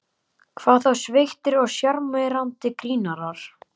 Hvað þá sveittir og sjarmerandi grínarar.